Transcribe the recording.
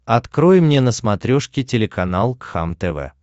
открой мне на смотрешке телеканал кхлм тв